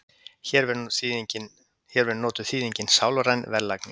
hér verður notuð þýðingin sálræn verðlagning